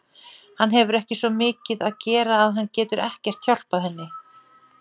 Hann hefur svo mikið að gera að hann getur ekkert hjálpað henni.